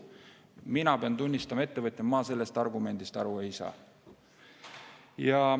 Mina pean tunnistama, ettevõtjana ma sellest argumendist aru ei saa.